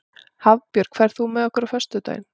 Hafbjörg, ferð þú með okkur á föstudaginn?